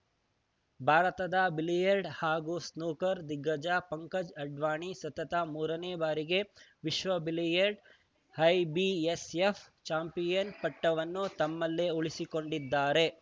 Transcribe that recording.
ಭಾರತದ ಬಿಲಿಯರ್ಡ್ಸ್ ಹಾಗೂ ಸ್ನೂಕರ್‌ ದಿಗ್ಗಜ ಪಂಕಜ್‌ ಅಡ್ವಾಣಿ ಸತತ ಮೂರನೇ ಬಾರಿಗೆ ವಿಶ್ವ ಬಿಲಿಯರ್ಡ್ಸ್ಐಬಿಎಸ್‌ಎಫ್‌ ಚಾಂಪಿಯನ್‌ ಪಟ್ಟವನ್ನು ತಮ್ಮಲ್ಲೆ ಉಳಿಸಿಕೊಂಡಿದ್ದಾರೆ